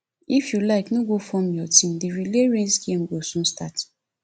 if you like no go form your team the relay race game go soon start